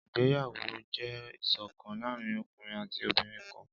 ìgbéyàwó jẹ iṣọkan laarin ọkunrin ati obinrin kan.